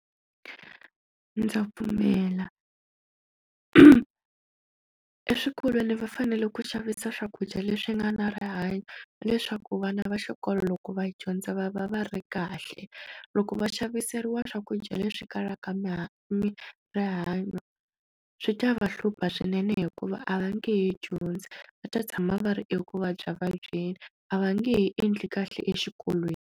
Ndza pfumela eswikolweni va fanele ku xavisa swakudya leswi nga na rihanyo leswaku vana va xikolo loko va dyondza va va va ri kahle loko va xaviseriwa swakudya leswi kalaka ma mi rihanyo swi ta va hlupha swinene hikuva a va nge he dyondzi va ta tshama va ri eku vabya vabyeni a va nge endli kahle exikolweni.